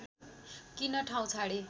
किन ठाउँ छाडे